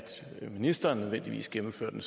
ministeren nødvendigvis gennemfører den